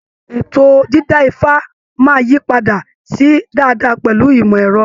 Ètò dìda ifa máa yí padà sí dáadáa pẹlu ìmọ̀ ẹ̀rọ.